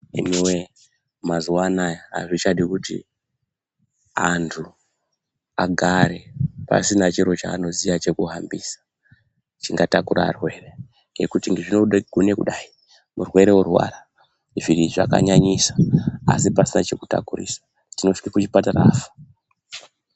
Imi woye mazuwa Anaya azvichadi kuti andu agare asina chiro chanoziya chekuhambisa chingatakura varwere nekuti zvinoda zvinogona kudai murwere orwara izvi zvakanyanyisa asi pasina chekutakurisa tinosvika kuchipatara afa.